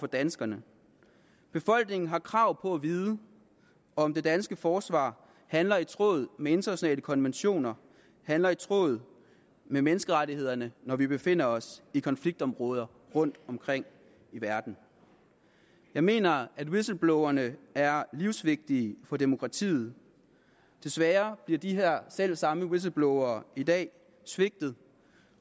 danskerne det befolkningen har krav på at vide om det danske forsvar handler i tråd med internationale konventioner handler i tråd med menneskerettighederne når vi befinder os i konfliktområder rundtomkring i verden jeg mener at whistleblowerne er livsvigtige for demokratiet desværre bliver de her selv samme whistleblowere i dag svigtet